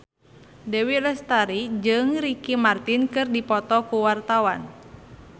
Dewi Lestari jeung Ricky Martin keur dipoto ku wartawan